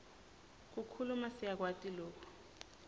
kukhuluma siyakwati loku